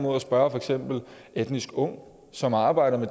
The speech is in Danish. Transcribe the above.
at spørge for eksempel etnisk ung som arbejder